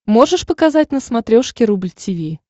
можешь показать на смотрешке рубль ти ви